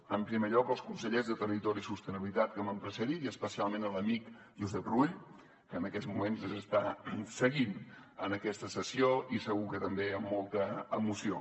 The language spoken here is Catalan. en primer lloc als consellers de territori i sostenibilitat que m’han precedit i especialment a l’amic josep rull que en aquests moments ens està seguint en aquesta sessió i segur que també amb molta emoció